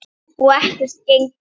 Og ekkert gengur.